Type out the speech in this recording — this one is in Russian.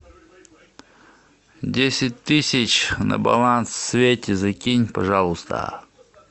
десять тысяч на баланс свете закинь пожалуйста